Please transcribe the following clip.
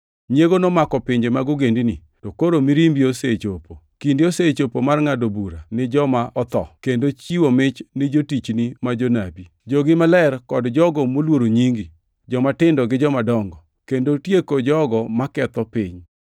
Nyiego nomako pinje mag ogendini, to koro mirimbi osechopo. Kinde osechopo mar ngʼado bura ni joma otho, kendo chiwo mich ni jotichni ma jonabi, gi jogi maler kod jogo moluoro nyingi, jomatindo gi jomadongo. Kendo tieko jogo maketho piny.”